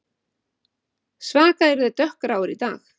Svaka eru þeir dökkgráir í dag